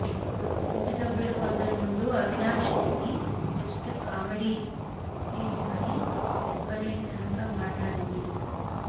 ఇంటి సభ్యులు కొందరి ముందు అవినాష్ ని జస్ట్ కామెడీ ఫీస్ అని లెక్కలేని తనంగా మాట్లాడింది